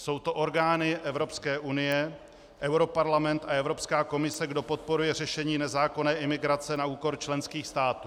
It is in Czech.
Jsou to orgány Evropské unie, europarlament a Evropská komise, kdo podporuje řešení nezákonné imigrace na úkor členských států.